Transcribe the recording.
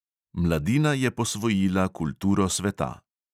Mladina je posvojila kulturo sveta.